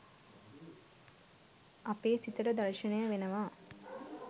අපේ සිතට දර්ශනය වෙනවා.